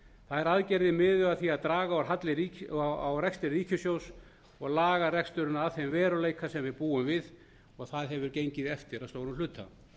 þær aðgerðir miðuðu að því að draga úr halla á rekstri ríkissjóð og laga reksturinn að þeim veruleika sem við búum við og það hefur gengið eftir að stærstum hluta